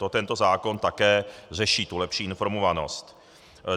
To tento zákon také řeší, tu lepší informovanost.